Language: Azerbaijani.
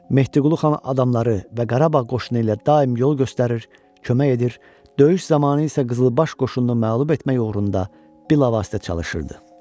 Mehdiqulu xan adamları və Qarabağ qoşunu ilə daim yol göstərir, kömək edir, döyüş zamanı isə qızılbaş qoşununu məğlub etmək uğrunda bilavasitə çalışırdı.